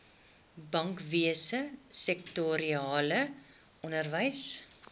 bankwese sektorale onderwys